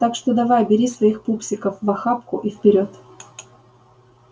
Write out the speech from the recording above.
так что давай бери своих пупсиков в охапку и вперёд